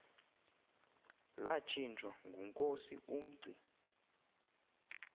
latshintshwa ngunkosi umngci